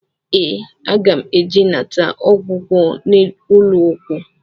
Ee, aga m eje ịnata ọgwụgwọ n'ụlọọgwụ